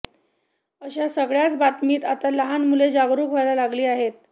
अशा सगळ्याच बाबतीत आता लहान मुले जागरूक व्हायला लागली आहेत